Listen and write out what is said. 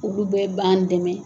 Ulu bɛɛ b'an dɛmɛ